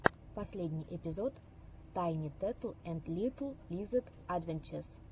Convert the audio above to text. последний эпизод тайни тетл энд литл лизэд адвенчез